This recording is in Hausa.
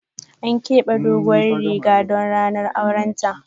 An kebe farin doguwan Riga don ranar auren ta.